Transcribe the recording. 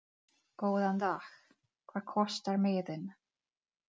Góðan dag. Hvað kostar miðinn?